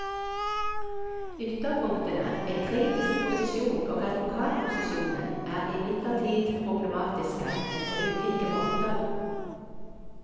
Ytterpunktene, en kritisk posisjon og advokatposisjonen, er imidlertid problematiske, men på ulike måter.